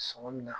Sɔngɔ min na